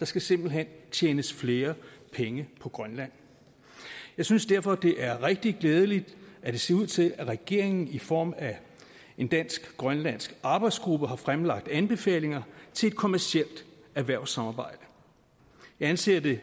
der skal simpelt hen tjenes flere penge på grønland jeg synes derfor det er rigtig glædeligt at det ser ud til at regeringen i form af en dansk grønlandsk arbejdsgruppe har fremlagt anbefalinger til et kommercielt erhvervssamarbejde jeg anser det